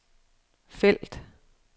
felt